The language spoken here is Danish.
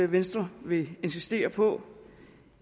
venstre vil insistere på